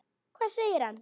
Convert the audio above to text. Hvað segir hann?